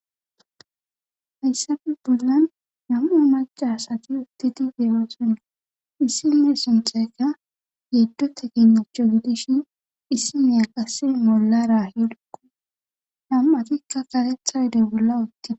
Hayssafe bollan nama macasati uttiti deyoosonna issime sunthayka yeddota ginnocho gidishin issi meyaqasi mollarahilkko nam7atikka karetha yodoy bolla uttia